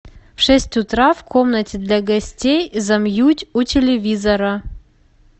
в шесть утра в комнате для гостей замьють у телевизора